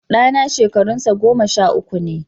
Ɗana shekarunsa goma sha uku ne